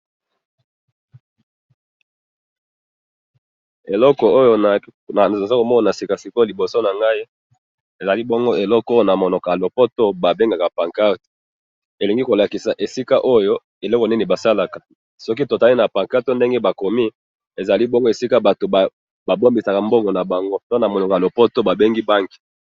eloko oyo nazomona nasika sikoyo liboso nangai, ezali bongo eloko oyo namonoko ya lopoto babengaka pancadre, elingi kolakisa esika oyo eloko nini basalaka, soki totali na pancadre ndenge oyo bakomi ezali bongo esika batu babemisaka mbongo na bango, pe namonoko ya lopoto babengi Bank